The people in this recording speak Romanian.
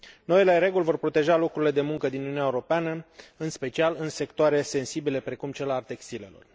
Noile reguli vor proteja locurile de muncă din Uniunea Europeană, în special în sectoare sensibile, precum cel al textilelor.